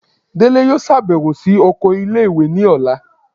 Délé yóò ṣabẹwo si okò ìlé-ìwé ní ọla